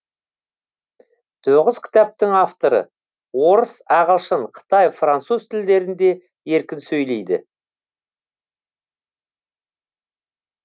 тоғыз кітаптың авторы орыс ағылшын қытай француз тілдерінде еркін сөйлейді